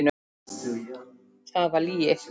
Það var lygi.